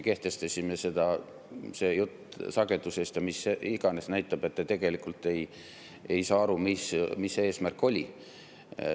See jutt sagedusest ja millest iganes näitab, et te tegelikult ei saa aru, mis see eesmärk oli.